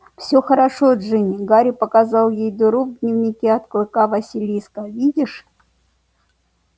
всё хорошо джинни гарри показал ей дыру в дневнике от клыка василиска видишь